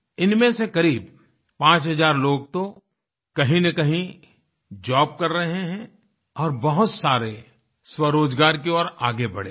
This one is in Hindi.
इनमें से क़रीब पाँच हज़ार लोग तो कहींनकहीं जॉब कर रहे हैं और बहुत सारे स्वरोजगार की ओर आगे बढे हैं